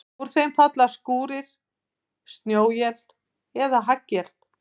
Úr þeim falla skúrir, snjóél eða haglél.